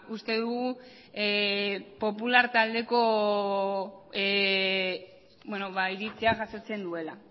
uste dugu popular taldeko iritzia jasotzen duela